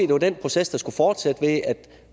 var den proces der skulle fortsætte ved at der